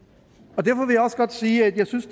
derfor vil jeg også godt sige at jeg synes